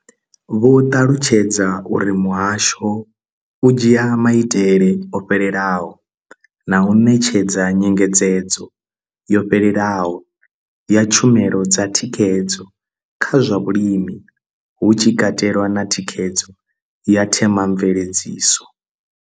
Vho ṱalutshedza uri muhasho u dzhia maitele o fhelelaho na u ṋetshedza nyengedzedzo yo fhelelaho ya tshumelo dza thikhedzo kha zwa vhulimi, hu tshi katelwa na thikhedzo ya themamveledziso.